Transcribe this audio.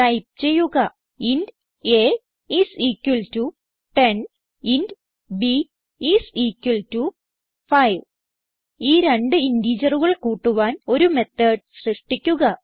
type ചെയ്യുക int a is equal to 10 int b is equal to 5 ഈ രണ്ട് ഇന്റിജറുകൾ കൂട്ടുവാൻ ഒരു മെത്തോട് സൃഷ്ടിക്കുക